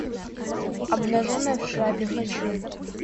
обнаженная в шляпе хочу